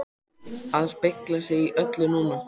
AÐ SPEGLA SIG Í ÖLLU NÚNA!